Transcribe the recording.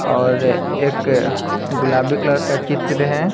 और एक गुलाबी कलर का चित्र है।